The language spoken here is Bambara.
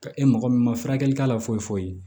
Ka e mɔgɔ min ma furakɛli k'a la foyi foyi foyi